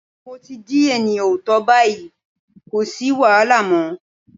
Mo ti di ènìyàn ọ̀tọ̀ báyìí, kò sì wàhálà mọ́.